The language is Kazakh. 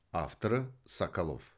авторы соколов